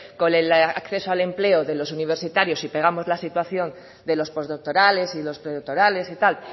con el acceso al empleo de los universitarios y pegamos la situación de los postdoctorales y los predoctorales y tal